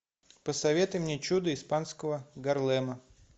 посоветуй мне чудо испанского гарлема